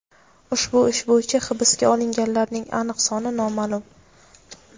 ushbu ish bo‘yicha hibsga olinganlarning aniq soni noma’lum.